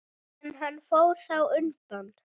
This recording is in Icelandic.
En hann fór þá undan.